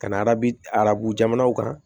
Ka na arabu arabu jamanaw kan